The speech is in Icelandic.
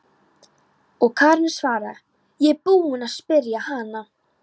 Og Karen svaraði: Ég er búin að spyrja hana.